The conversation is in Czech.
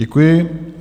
Děkuji.